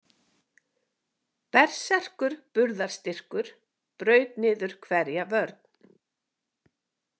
Berserkur burðastyrkur braut niður hverja vörn.